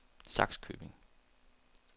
Sakskøbing